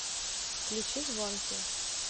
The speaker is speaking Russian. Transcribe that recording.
включи звонкий